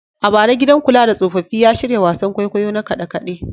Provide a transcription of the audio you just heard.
A bara, gidan kula da tsofaffi ya shirya wasan kwaikwayo na kade-kade.